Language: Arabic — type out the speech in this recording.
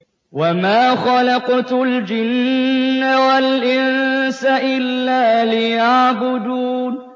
وَمَا خَلَقْتُ الْجِنَّ وَالْإِنسَ إِلَّا لِيَعْبُدُونِ